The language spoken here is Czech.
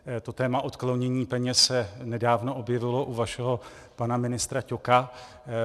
To téma odklonění peněz se nedávno objevilo u vašeho pana ministra Ťoka.